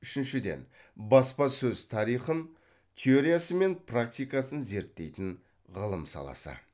үшіншіден баспасөз тарихын теориясы мен практикасын зерттейтін ғылым саласы